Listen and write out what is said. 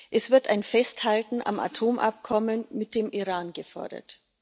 Es wird ein Festhalten am Atomabkommen mit dem Iran gefordert.